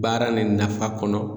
Baara nin nafa kɔnɔ